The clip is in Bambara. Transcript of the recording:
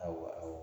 Awɔ